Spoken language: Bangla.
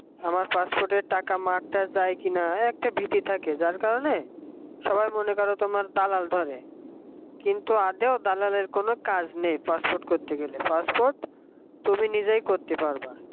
passport টাকা মারটার যায় কিনা এই একটা ভীতি থাকে যার কারণে সবাই মনে করো তোমার দালাল ধরে কিন্তু আদেও দালালের কোন কাজ নেই passport করতে গেলে pass port তুমি নিজেই করতে পারবা